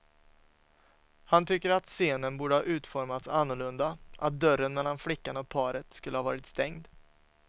Han tycker att scenen borde ha utformats annorlunda, att dörren mellan flickan och paret skulle ha varit stängd.